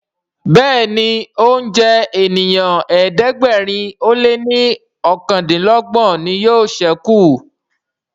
Béèni oúnjẹ ènìyàn ẹ̀ẹ́dẹ̀gbẹ̀rin o lẹ ní okàndinlogbon ní yóò sẹku.